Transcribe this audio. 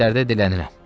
Kəndlərdə dilənirəm.